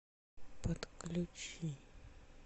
подключи